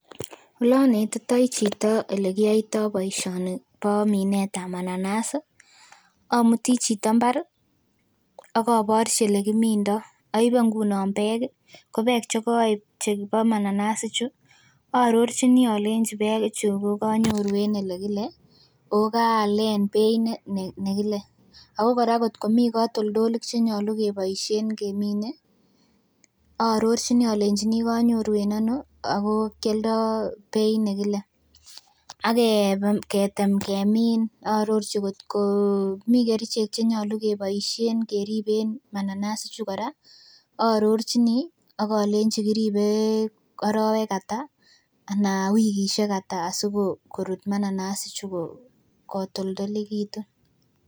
Olonetitoi chito olekiyoitio boisioni bo minetab mananas ih omutii chito mbar ih akoborchi elekimindoo. Oibe ngunon beek ih ko beek chekoib chebo mananas ichu aarorchini olenji beek ichu kokonyoru en elekile oh kaalen beit nekile. Ako kora ngot komii katoltolik chenyolu keboisien kemine aarorchini olenji kanyoru en ano ako kialdoo beit nekile. Akebe ketem kemin aarorchi kot ko mii kerichek chenyolu keboisien keriben mananas ichu kora aarorchini akolenji kiribe arowek ata ana wikisiek ata sikorut mananas ichu kotoltolekitu